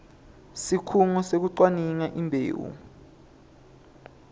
sikhungo sekucwaninga imbewu